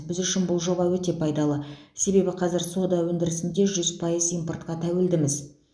біз үшін бұл жоба өте пайдалы себебі қазір сода өндірісінде жүз пайыз импортқа тәуелдіміз